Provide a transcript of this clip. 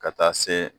Ka taa se